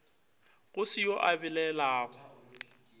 go se yo a belaelago